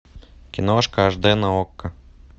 киношка аш дэ на окко